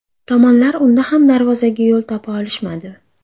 Tomonlar unda ham darvozaga yo‘l topa olishmadi.